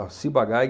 A Ciba-Geig